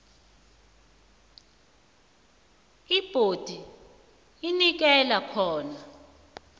ibhondi inikelwa khona